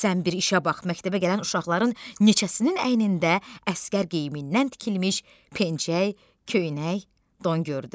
Sən bir işə bax, məktəbə gələn uşaqların neçəsinin əynində əsgər geyimindən tikilmiş pencək, köynək, don gördü.